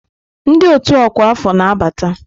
Ndị ọ́tù ọkwa afọ na-abata.